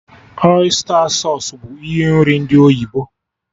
Ọysta sausụ bụ ihe nri ndị oyibo